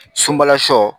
Sunbala sɔ